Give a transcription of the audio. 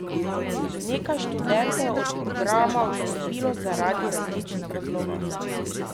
Nekaj študentov je od programa odstopilo zaradi različnih razlogov.